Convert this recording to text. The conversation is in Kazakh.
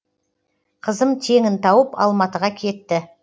қызым теңін тауып алматыға кетті